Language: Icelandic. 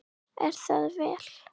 Er það vel.